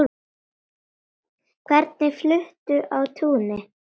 Hvernig fluttur á túnin?